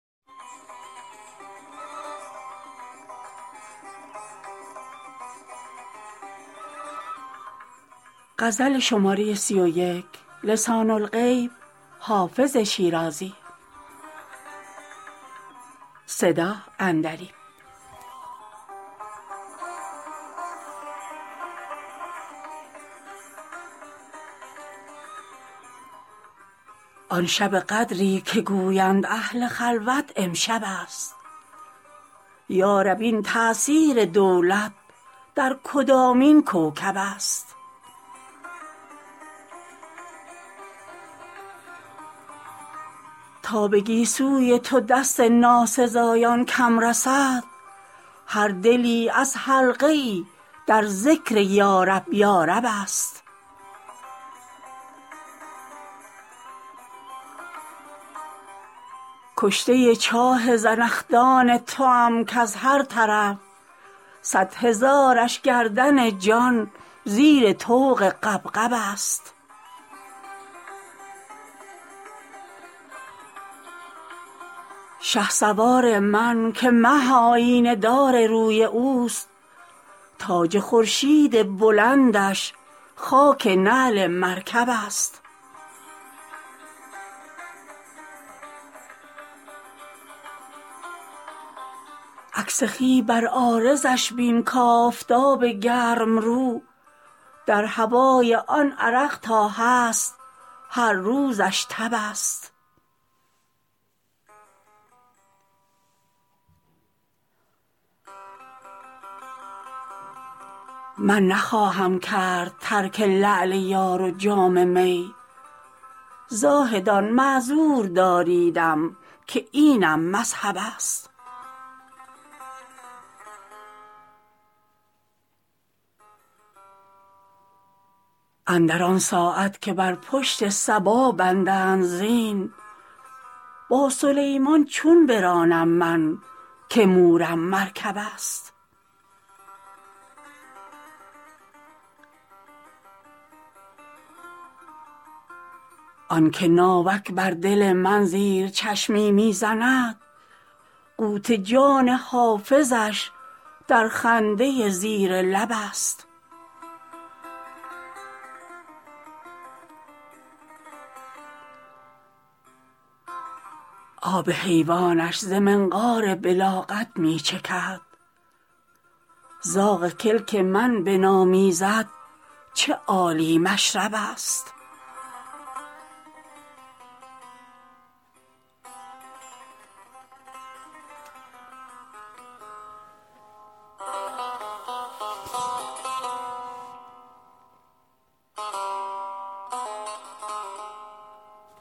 آن شب قدری که گویند اهل خلوت امشب است یا رب این تأثیر دولت در کدامین کوکب است تا به گیسوی تو دست ناسزایان کم رسد هر دلی از حلقه ای در ذکر یارب یارب است کشته چاه زنخدان توام کز هر طرف صد هزارش گردن جان زیر طوق غبغب است شهسوار من که مه آیینه دار روی اوست تاج خورشید بلندش خاک نعل مرکب است عکس خوی بر عارضش بین کآفتاب گرم رو در هوای آن عرق تا هست هر روزش تب است من نخواهم کرد ترک لعل یار و جام می زاهدان معذور داریدم که اینم مذهب است اندر آن ساعت که بر پشت صبا بندند زین با سلیمان چون برانم من که مورم مرکب است آن که ناوک بر دل من زیر چشمی می زند قوت جان حافظش در خنده زیر لب است آب حیوانش ز منقار بلاغت می چکد زاغ کلک من بنامیزد چه عالی مشرب است